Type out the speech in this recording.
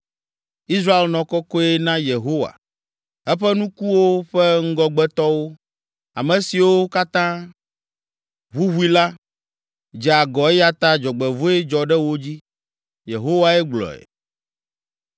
Israel nɔ kɔkɔe na Yehowa, eƒe nukuwo ƒe ŋgɔgbetɔwo, ame siwo katã ʋuʋui la, dze agɔ eya ta dzɔgbevɔ̃e dzɔ ɖe wo dzi.’ ” Yehowae gblɔe.